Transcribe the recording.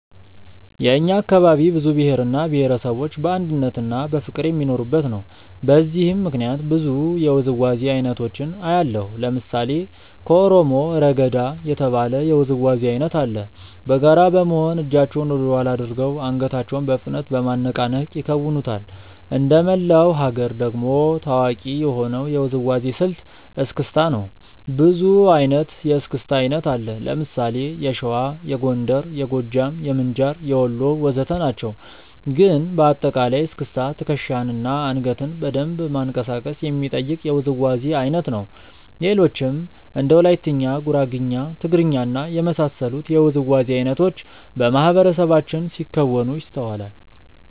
የእኛ አካባቢ ብዙ ብሄር እና ብሄረሰቦች በአንድነትና በፍቅር የሚኖሩበት ነው። በዚህም ምክንያት ብዙ የውዝዋዜ አይነቶችን አያለሁ። ለምሳሌ ከኦሮሞ "ረገዳ" የተባለ የውዝዋዜ አይነት አለ። በጋራ በመሆን እጃቸውን ወደኋላ አድርገው አንገታቸውን በፍጥነት በማነቃነቅ ይከውኑታል። እንደመላው ሀገር ደግሞ ታዋቂ የሆነው የውዝዋዜ ስልት "እስክስታ" ነው። ብዙ አይነት የእስክስታ አይነት አለ። ለምሳሌ የሸዋ፣ የጎንደር፣ የጎጃም፣ የምንጃር፣ የወሎ ወዘተ ናቸው። ግን በአጠቃላይ እስክስታ ትከሻን እና አንገትን በደንብ ማንቀሳቀስ የሚጠይቅ የውዝዋዜ አይነት ነው። ሌሎችም እንደ ወላይትኛ፣ ጉራግኛ፣ ትግርኛ እና የመሳሰሉት የውዝዋዜ አይነቶች በማህበረሰባችን ሲከወኑ ይስተዋላል።